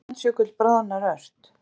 Grænlandsjökull bráðnar ört